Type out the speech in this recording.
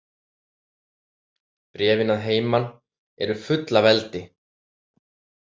Bréfin að heiman eru full af eldi.